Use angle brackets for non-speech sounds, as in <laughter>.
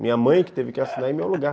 Minha mãe que teve <laughs> que assinar em meu lugar.